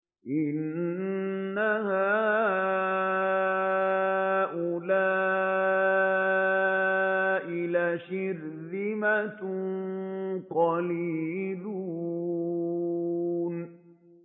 إِنَّ هَٰؤُلَاءِ لَشِرْذِمَةٌ قَلِيلُونَ